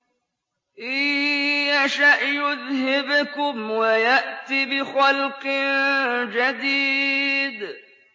إِن يَشَأْ يُذْهِبْكُمْ وَيَأْتِ بِخَلْقٍ جَدِيدٍ